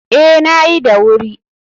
Ee, na yi da wuri.